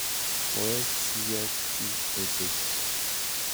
Koek siyokchi ochei.